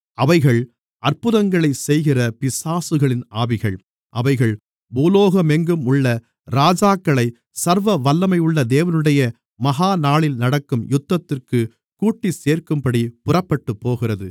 அவைகள் அற்புதங்களைச் செய்கிற பிசாசுகளின் ஆவிகள் அவைகள் பூலோகமெங்கும் உள்ள ராஜாக்களை சர்வவல்லமையுள்ள தேவனுடைய மகாநாளில் நடக்கும் யுத்தத்திற்குக் கூட்டிச்சேர்க்கும்படி புறப்பட்டுப்போகிறது